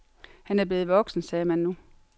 Han var blevet voksen, sagde man nu.